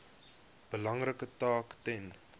belangrike taak ten